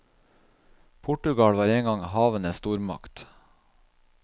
Portugal var en gang en havenes stormakt.